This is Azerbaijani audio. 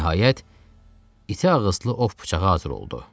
Nəhayət, iti ağızlı ov bıçağı hazır oldu.